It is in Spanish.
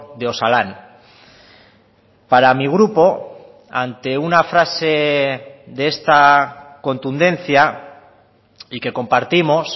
de osalan para mi grupo ante una frase de esta contundencia y que compartimos